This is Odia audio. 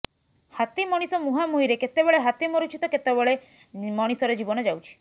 ହାତୀ ମଣିଷ ମୁହାଁମୁହିଁରେ କେତେବେଳେ ହାତୀ ମରୁଛି ତ କେତେବେଳେ ମଣିଷର ଜୀବନ ଯାଉଛି